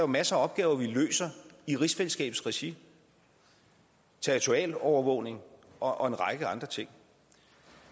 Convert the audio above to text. masser af opgaver vi løser i rigsfællesskabets regi territorial overvågning og en række andre ting